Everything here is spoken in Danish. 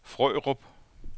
Frørup